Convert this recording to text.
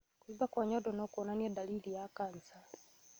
Kũimba kwa nyondo nokuonanie ndariri ya kanja